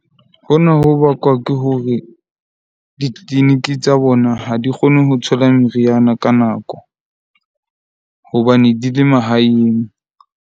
Hona ho bakwa ke hore di-clinic tsa bona ha di kgone ho thola meriana ka nako hobane di le mahaeng.